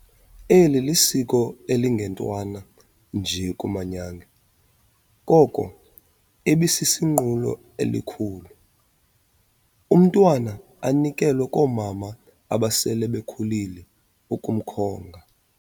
Eli lisiko elingentwana nje kumanyange, koko ibisisinqulo elikhulu. Umntwana anikelwe koomama abasele bekhulile ukumkhunga.